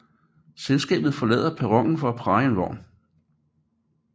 Selskabet forlader perronen for at praje en vogn